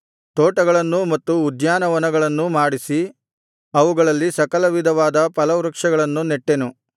ತೋಟಗಳನ್ನೂ ಮತ್ತು ಉದ್ಯಾನವನಗಳನ್ನೂ ಮಾಡಿಸಿ ಅವುಗಳಲ್ಲಿ ಸಕಲ ವಿಧವಾದ ಫಲವೃಕ್ಷಗಳನ್ನು ನೆಟ್ಟೆನು